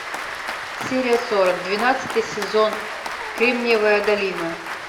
серия сорок двенадцатый сезон кремниевая долина